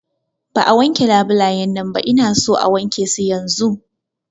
Ba a wanke labulayan nan ba, Ina son a wanke su yanzun!